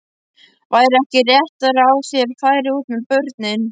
Væri ekki réttara að þér færuð út með börnin?